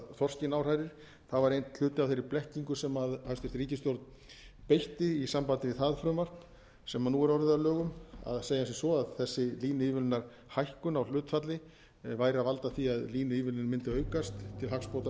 þorskinn áhrærir það var einn hluti af þeirri blekkingu sem hæstvirt ríkisstjórn beitti í sambandi við það frumvarp sem nú er orðið að lögum að segja sem svo að þessi línuívilnunarhækkun á hlutfalli væri að valda því að línuívilnun mundi aukast til hagsbóta